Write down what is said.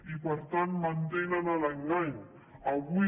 i per tant mantenen l’engany avui